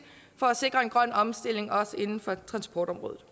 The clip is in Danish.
for at sikre en grøn omstilling også inden for transportområdet